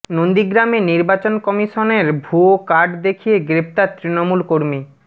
নন্দীগ্রামে নির্বাচন কমিশনের ভুয়ো কার্ড দেখিয়ে গ্রেফতার তৃণমূল কর্মী